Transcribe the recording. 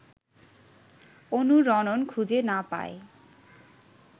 অনুরণন খুঁজে না পায়